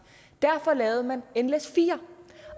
derfor lavede man nles4